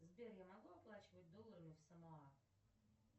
сбер я могу оплачивать долларами в самоа